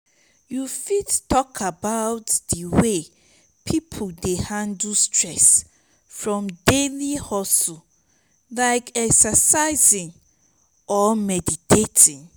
you fit talk about di way people dey handle stress from daily hustles like exercising or meditating?